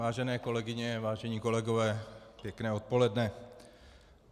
Vážené kolegyně, vážení kolegové, pěkné odpoledne.